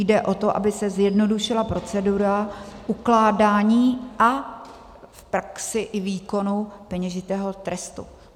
Jde o to, aby se zjednodušila procedura ukládání a v praxi i výkonu peněžitého trestu.